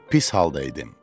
Pis halda idim.